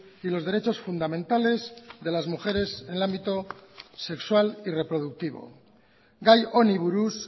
y los derechos fundamentales de las mujeres en el ámbito sexual y reproductivo gai honi buruz